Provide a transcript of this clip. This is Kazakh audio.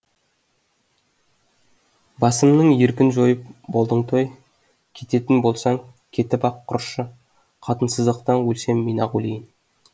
басымның еркін жойып болдың той кететін болсаң кетіп ақ құрышы қатынсыздықтан өлсем мен ақ өлейін